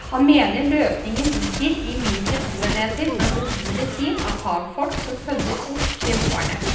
Han mener løsningen ligger i mindre boenheter med mobile team av fagfolk som følger opp beboerne.